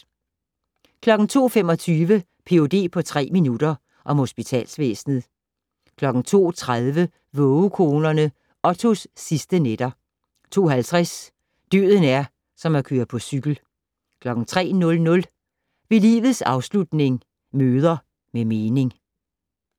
02:25: Ph.d. på tre minutter - om hospitalsvæsenet 02:30: Vågekonerne - Ottos sidste nætter 02:50: Døden er som at køre på cykel 03:00: Ved livets afslutning - møder med mening